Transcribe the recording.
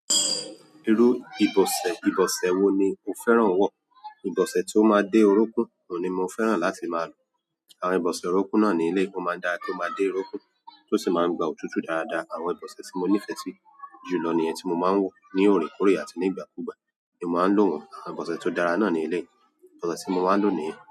Irú u ìbòsẹ̀, ìbòsẹ̀ wo ni o fẹ́ràn àn wọ̀ ìbòsẹ̀ tí ó máa dé orúnkún ni mo fẹ́ràn láti máa lò. Àwọn ìbòsẹ̀ orúnkún náà ni eléèyìí, ó máa dára kí ó máa dé orúnkún, tó sì máa ń gba òtútù dáradára. Àwọn ìbòsẹ̀ tí mo nífẹ̀ẹ́ sí jù lọ nìyen tí mo máa ń wọ̀ ní òrèkóòrè àti ní ìgbàkúgbà ni mo máa ń lò wọ́n. Àwọn ìbòsẹ̀ tó dára náà ni eléèyìí, ìbòsẹ̀ tí mo máa ń lò nìyen.